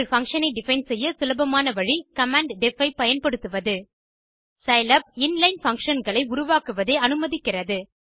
ஒரு பங்ஷன் ஐ டிஃபைன் செய்ய சுலபமான வழி கமாண்ட் deff ஐ பயன்படுத்துவது சிலாப் in லைன் functionகளை உருவாக்குவதை அனுமதிக்கிறது